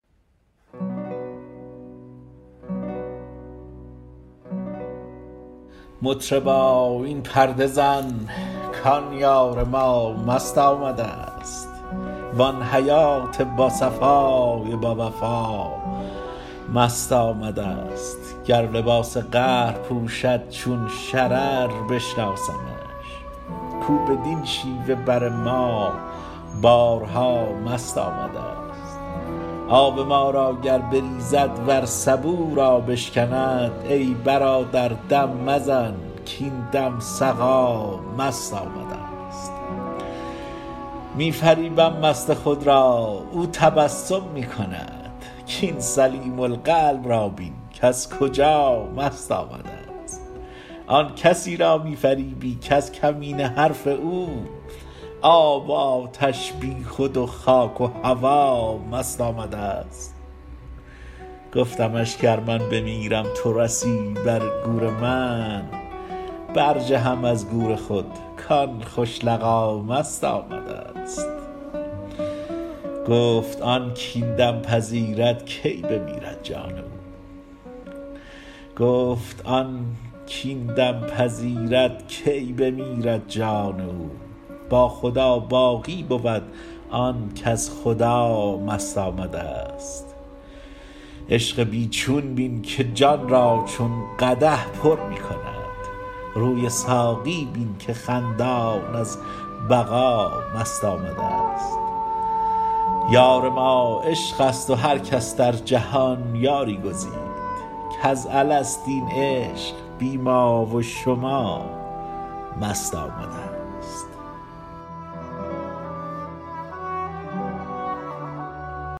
مطربا این پرده زن کان یار ما مست آمدست وان حیات باصفای باوفا مست آمدست گر لباس قهر پوشد چون شرر بشناسمش کو بدین شیوه بر ما بارها مست آمدست آب ما را گر بریزد ور سبو را بشکند ای برادر دم مزن کاین دم سقا مست آمدست می فریبم مست خود را او تبسم می کند کاین سلیم القلب را بین کز کجا مست آمدست آن کسی را می فریبی کز کمینه حرف او آب و آتش بیخود و خاک و هوا مست آمدست گفتمش گر من بمیرم تو رسی بر گور من برجهم از گور خود کان خوش لقا مست آمدست گفت آن کاین دم پذیرد کی بمیرد جان او با خدا باقی بود آن کز خدا مست آمدست عشق بی چون بین که جان را چون قدح پر می کند روی ساقی بین که خندان از بقا مست آمدست یار ما عشق است و هر کس در جهان یاری گزید کز الست این عشق بی ما و شما مست آمدست